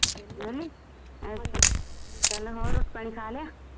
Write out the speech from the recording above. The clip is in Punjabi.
ਵੇਹਲੀ ਰੋਟੀ ਪਾਣੀ ਖਾ ਲਿਆ